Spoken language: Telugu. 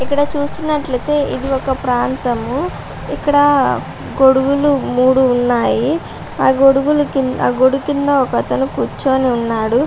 ఇక్కడ చూస్తున్నట్లు ఐతే ఇది ఒక ప్రాంతము ఇక్కడ గొడుగులు మూడు ఉన్నాయి ఆ గొడుగులు గొడుగు కింద ఒక అతను కూర్చొని ఉన్నాడు.